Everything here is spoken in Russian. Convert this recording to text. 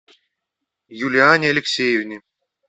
юлиане алексеевне